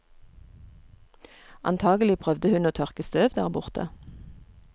Antagelig prøvde hun å tørke støv der borte.